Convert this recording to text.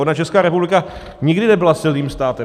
Ona Česká republika nikdy nebyla silným státem.